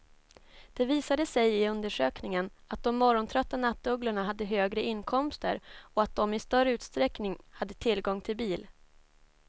Det visade sig i undersökningen att de morgontrötta nattugglorna hade högre inkomster och att de i större utsträckning hade tillgång till bil.